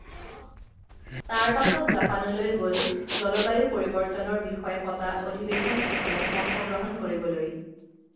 তাৰ পাছত জাপানলৈ গল জলবায়ু পৰিবৰ্তনৰ বিষয়ে পতা অধিৱেশন এখনত অংশগ্ৰহণ কৰিবলৈ